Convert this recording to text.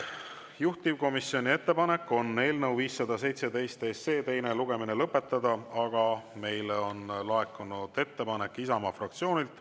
Juhtivkomisjoni ettepanek on eelnõu 517 teine lugemine lõpetada, aga meile on laekunud ettepanek Isamaa fraktsioonilt.